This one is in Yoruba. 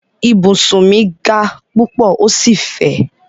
Ibùsùn mi ga púpọ̀ ó sì fẹ̀.